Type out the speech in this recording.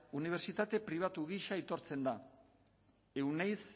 unibertsitate pribatu gisa aitortzen da euneiz